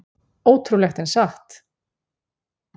Ótrúlegt en satt!